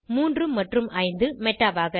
3 மற்றும் 5 மெடாவாக